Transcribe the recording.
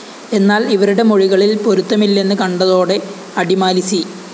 എന്നാല്‍ ഇവരുടെ മൊഴികളില്‍ പൊരുത്തമില്ലെന്ന് കണ്ടതോടെ അടിമാലി സി